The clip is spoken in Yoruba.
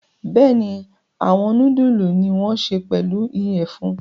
Bẹ́ẹ̀ni, awọn nudulu ni won ṣe pelu iyẹfun